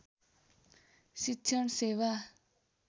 शिक्षण सेवा